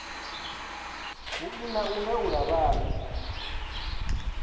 vhui na u laula vhane